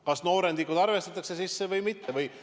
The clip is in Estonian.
Kas noorendikud arvestatakse sisse või mitte?